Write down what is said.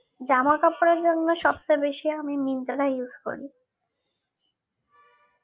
জামাকাপড়ের জন্য সব থেকে বেশি আমি মিন্ত্রা use